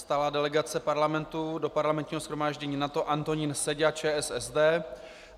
Stálá delegace Parlamentu do Parlamentního shromáždění NATO - Antonín Seďa, ČSSD.